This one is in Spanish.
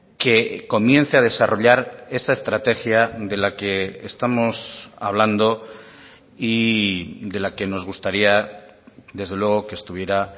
que comienza a desarrollar esa estrategia de la que estamos hablando y de la que nos gustaría desde luego que estuviera